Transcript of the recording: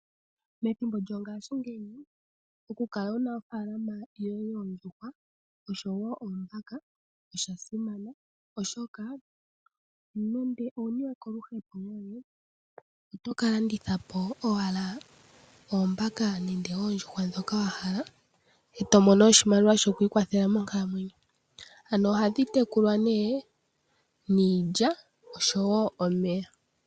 Methimbo lyongashingeyi okukala wuna ofaalama yoye yoondjuhwa oshowo oombaka oshasimana oshoka nande owuniwe koluhepo lwoye otokalandithapo owala oombaka nenge oondjuhwa ndhoka wahala etomono oshimaliwa shoku ikwathela monkalamwenyo, ano ohadhi tekulwa niilya oshowo omeya.